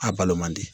A balo man di